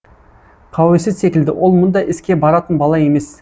қауесет секілді ол мұндай іске баратын бала емес